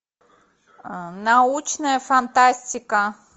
научная фантастика